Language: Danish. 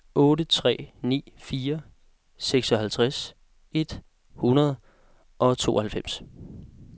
otte tre ni fire seksoghalvtreds et hundrede og tooghalvfems